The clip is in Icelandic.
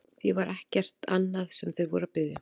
Því það var ekkert annað sem þeir voru að biðja hann um!